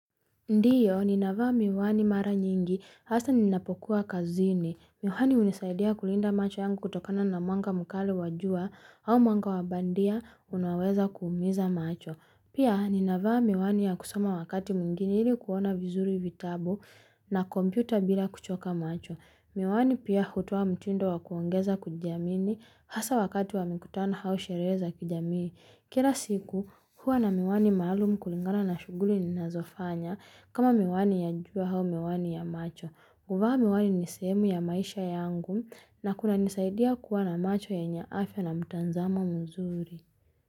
Ndiyo, ninavaa miwani mara nyingi, hasa ninapokuwa kazini. Miwani unisaidia kulinda macho yangu kutokana na mwanga mkali wa jua au mwanga wabandia unaoweza kuumiza macho. Pia, ninavaa miwani ya kusoma wakati mwingine ili kuona vizuri vitabu na kompyuta bila kuchoka macho. Miwani pia hutoa mtindo wakuongeza kujiamini, hasa wakati wamekutana au sherehe za kijamii. Kira siku huwa na miwani maalumu kulingana na shuguli ni nazofanya kama miwani ya jua hau miwani ya macho. Kuvaa miwani ni sehemu ya maisha yangu na kuna nisaidia kuwa na macho yenye afya na mtanzamo mzuri.